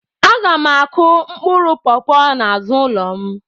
Aga m akụ mkpụrụ pọpọ n'azụ ụlọ m